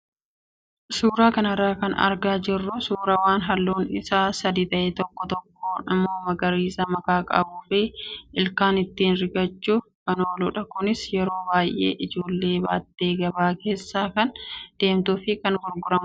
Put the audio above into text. Suuraa kanarraa kan argaa jirru suuraa waan halluun isaa adii ta'e tokko tokko immoo magariisa makaa kan qabuu fi ilkaan ittiin rigachuuf kan ooludha. Kunis yeroo baay'ee ijoolleen baattee gabaa keessa kan deemtuu fi kan gurguramudha.